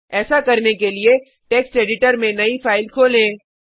ऐसा करने के लिए टेक्स्ट एडिटर में नई फाइल खोलें